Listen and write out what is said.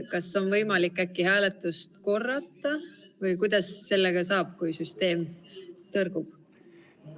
Kas on võimalik hääletust korrata või kuidas sellega saab, kui süsteem tõrgub?